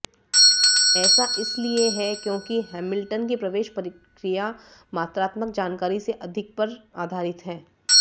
ऐसा इसलिए है क्योंकि हैमिल्टन की प्रवेश प्रक्रिया मात्रात्मक जानकारी से अधिक पर आधारित है